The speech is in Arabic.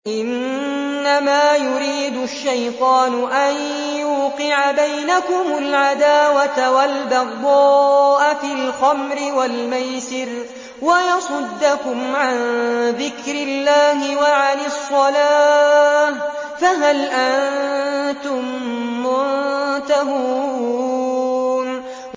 إِنَّمَا يُرِيدُ الشَّيْطَانُ أَن يُوقِعَ بَيْنَكُمُ الْعَدَاوَةَ وَالْبَغْضَاءَ فِي الْخَمْرِ وَالْمَيْسِرِ وَيَصُدَّكُمْ عَن ذِكْرِ اللَّهِ وَعَنِ الصَّلَاةِ ۖ فَهَلْ أَنتُم مُّنتَهُونَ